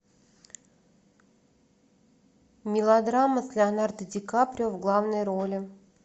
мелодрама с леонардо ди каприо в главной роли